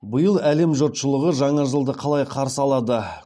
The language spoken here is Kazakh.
биыл әлем жұртшылығы жаңа жылды қалай қарсы алады